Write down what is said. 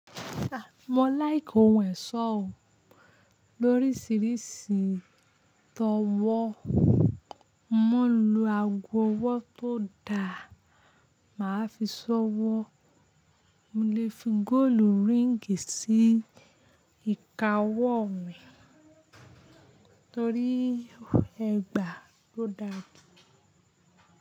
Mo like ohun ẹ̀ṣọ́ o, lórísìíríìsì tọ wọ́. Mo lè lo ago ọwọ́ tó da, màá fi ṣọ wọ́. Mo lè fi góòlù ríǹgì sí ìka ọwọ́ mi torí ẹgbàá ló dàgbé.